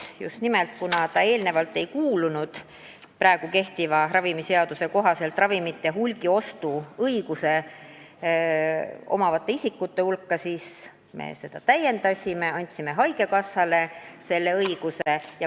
Just nimelt, kuna enne haigekassa ei kuulunud praegu kehtiva ravimiseaduse kohaselt ravimite hulgiostu õigust omavate isikute hulka, siis nüüd me seda täiendasime ja andsime talle selle õiguse.